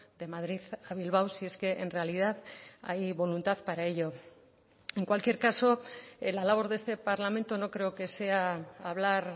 de madrid a bilbao si es que en realidad hay voluntad para ello en cualquier caso en la labor de este parlamento no creo que sea hablar